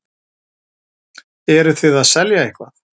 Eruð þið að selja eitthvað?